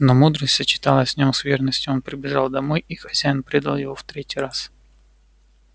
но мудрость сочеталась в нем с верностью он прибежал домой и хозяин предал его в третий раз